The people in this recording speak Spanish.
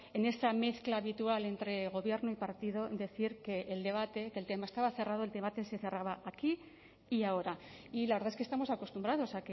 en esa mezcla habitual entre gobierno y partido decir que el debate que el tema estaba cerrado el debate se cerraba aquí y ahora y la verdad es que estamos acostumbrados